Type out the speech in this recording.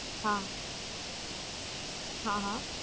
હા, હા હ